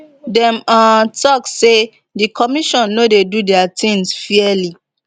dem um tok say di commission no dey do dia tins fairly